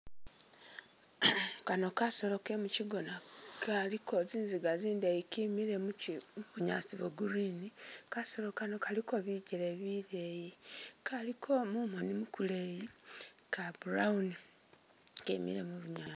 Kano kasolo kemukyigona kaliko zinziga zindeyi kimile mubunyasi bwo'green kasolo kano kaliko bijele bileyi kaliko mumoni mukuleyi ka brown kemile mubunyaasi.